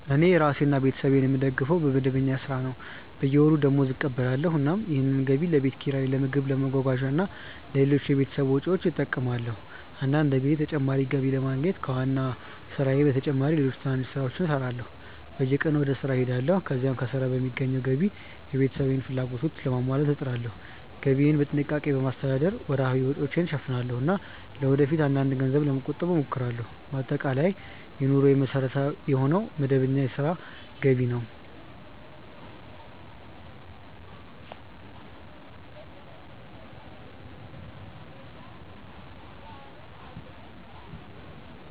እኔ ራሴንና ቤተሰቤን የምደግፈው በመደበኛ ሥራ ነው። በየወሩ ደመወዝ እቀበላለሁ፣ እናም ያንን ገቢ ለቤት ኪራይ፣ ለምግብ፣ ለመጓጓዣ እና ለሌሎች የቤተሰብ ወጪዎች እጠቀማለሁ። አንዳንድ ጊዜ ተጨማሪ ገቢ ለማግኘት ከዋና ሥራዬ በተጨማሪ ሌሎች ትንንሽ ሥራዎችንም እሠራለሁ። በየቀኑ ወደ ሥራ እሄዳለሁ፣ ከዚያም ከሥራ በሚገኘው ገቢ የቤተሰቤን ፍላጎቶች ለማሟላት እጥራለሁ። ገቢዬን በጥንቃቄ በማስተዳደር ወርሃዊ ወጪዎችን እሸፍናለሁ እና ለወደፊት አንዳንድ ገንዘብ ለመቆጠብም እሞክራለሁ። በአጠቃላይ የኑሮዬ መሠረት የሆነው መደበኛ የሥራ ገቢ ነው።